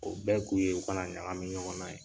O bɛɛ kun ye u kana ɲagamin ɲɔgɔn na ye.